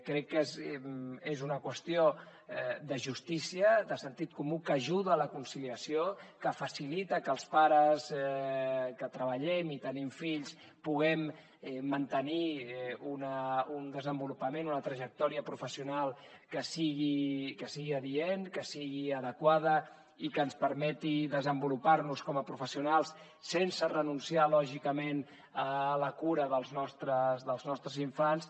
crec que és una qüestió de justícia de sentit comú que ajuda a la conciliació que facilita que els pares que treballem i tenim fills puguem mantenir un desenvolupament una trajectòria professional que sigui adient que sigui adequada i que ens permeti desenvolupar nos com a professionals sense renunciar lògicament a la cura dels nostres infants